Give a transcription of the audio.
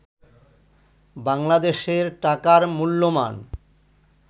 বাংলাদেশের টাকার মূল্যমান